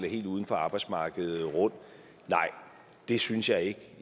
helt uden for arbejdsmarkedet rundt nej det synes jeg ikke